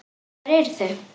Hver eru þau?